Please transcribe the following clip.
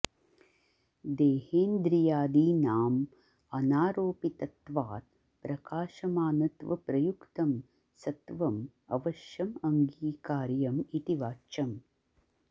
देहेन्द्रियादीनां अनारोपितत्वात् प्रकाशमानत्वप्रयुक्तं सत्वं अवश्यं अङ्गीकार्यं इति वाच्यं